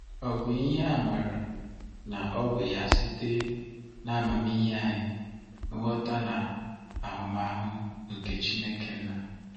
Ọ bụ ihe a maara na ọ bụ ya site n'amamihe anyị, nghọta na ahụmahụ nke Chineke Nna.